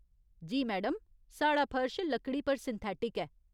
जी madam, साढ़ा फर्श लकड़ी पर सिंथेटिक ऐ।